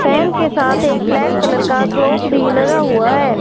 Fan के साथ एक ब्लैक कलर का क्लॉक भी लगा हुआ है।